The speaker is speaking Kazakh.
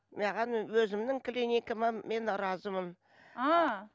маған өзімнің клиникама мен разымын ааа